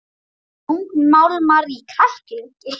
Þungmálmar í kræklingi